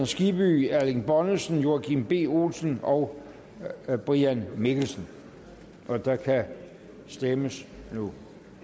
skibby erling bonnesen joachim b olsen og brian mikkelsen og der kan stemmes nu